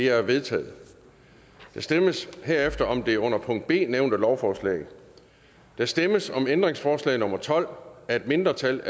er vedtaget der stemmes herefter om det under b nævnte lovforslag der stemmes om ændringsforslag nummer tolv af et mindretal